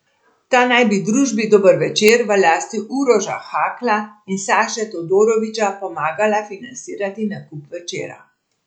Ta naj bi družbi Dober Večer v lasti Uroša Hakla in Saše Todorovića pomagala financirati nakup Večera.